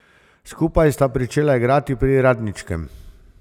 Skupaj sta pričela igrati pri Radničkem.